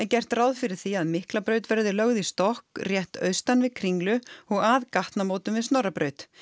gert ráð fyrir því að Miklabraut verði lögð í stokk rétt austan við Kringlu og að gatnamótum við Snorrabraut